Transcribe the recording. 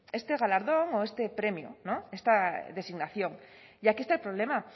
este galardón o este premio esta designación y aquí está el problema